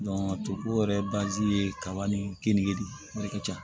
toko yɛrɛ ye kaba ni keninge de ye o de ka ca